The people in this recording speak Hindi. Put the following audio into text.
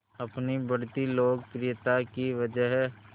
अपनी बढ़ती लोकप्रियता की वजह